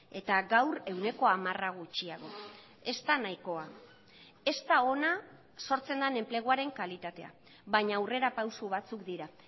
eta gaur ehuneko hamara gutxiago ez da nahikoa ez da ona sortzen den enpleguaren kalitatea baina aurrerapauso batzuk dira